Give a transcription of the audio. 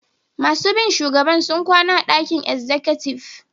Masun bi shugaban sun kwana a'dakin exikutiv.